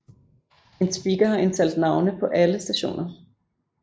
En speaker har indtalt navne på alle stationer